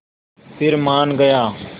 फिर मान गया